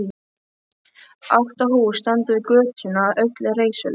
Átta hús standa við götuna, öll reisuleg.